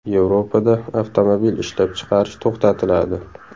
Yevropada avtomobil ishlab chiqarish to‘xtatiladi.